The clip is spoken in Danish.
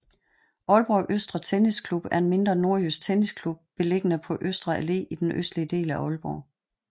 Aalborg Østre Tennisklub er en mindre nordjysk tennisklub beliggende på Østre Allé i den østlige del af Aalborg